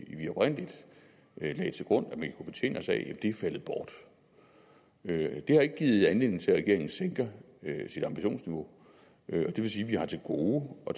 oprindelig lagde til grund at man kunne betjene sig af er faldet bort det har ikke givet anledning til at regeringen sænker sit ambitionsniveau og det vil sige at vi har til gode at